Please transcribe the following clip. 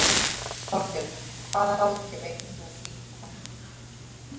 Þorbjörn: Hvaða ráðgjöf veitir þú þínum kúnnum?